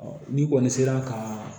ni kɔni sera ka